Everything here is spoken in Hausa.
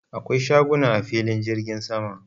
Akwai shaguna a filin jirgin sama.